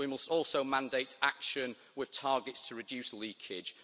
we must also mandate action with targets to reduce leakage.